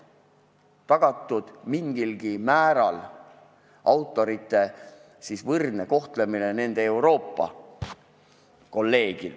Tuleb tagada mingilgi määral autorite võrdne kohtlemine nende Euroopa kolleegidega.